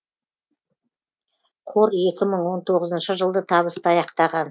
қор екі мың он тоғызыншы жылды табысты аяқтаған